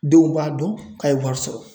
Denw b'a dɔn k'a ye wari sɔrɔ.